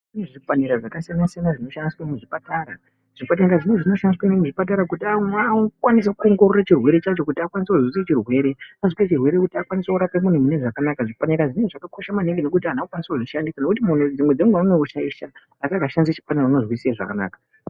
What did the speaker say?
Kune zvipanera zvakasiyana siyana zvinoshandiswe muzvipatara ,zvipatara zvimwe zvinoshandiswe nezvimwe zvipatara kuti akwanise kuwongorora chirwere chacho kuti akwanise kuzwisisa chirwere kuti akwanise kurape munhu munezvakanaka, zvipanera zvinhu zvakakosha maningi ngekuti anhu vanokwanise kuzvishandisa ngekutimunhu dzimweni dzenguva anoshaisha asi akashandisa chipanera unozwisise zvakanaka.